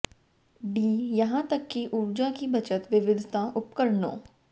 D यहां तक कि ऊर्जा की बचत विविधता उपकरणों